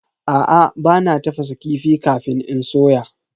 Aa, bana tafasa kifi kafin in soya.